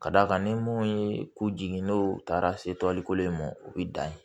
Ka d'a kan ni mun ye k'u jigin n'o taara se toliko in ma u bɛ dan ye